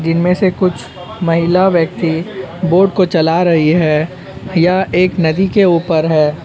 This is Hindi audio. जिनमें से कुछ महिला व्यक्ति बोट को चला रही है। यह एक नदी के ऊपर है।